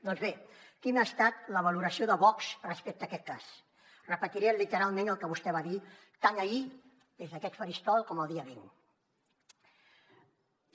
doncs bé quina ha estat la valoració de vox respecte a aquest cas repetiré literalment el que vostè va dir tant ahir des d’aquest faristol com el dia vint